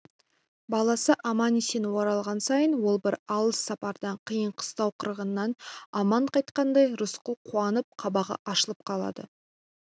баласы аман-есен оралған сайын ол бір алыс сапардан қиын-қыстау қырғыннан аман қайтқандай рысқұл қуанып қабағы ашылып қалады